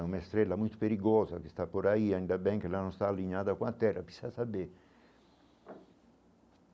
É uma estrela muito perigosa que está por aí, ainda bem que ela não está alinhada com a Terra, precisa saber.